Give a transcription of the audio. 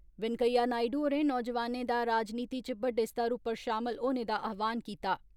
वैंकैया नायडु होरें नौजवानें दा राजनीति च बड्डे स्तर उप्पर शामल होने दा आह्वान कीता।